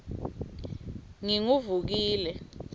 nginguvukile